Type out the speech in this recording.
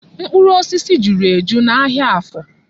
Mkpụrụ osisi juru eju n'ahịa Afọ.